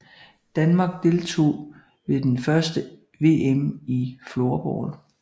Danmark deltog ved det første VM i floorball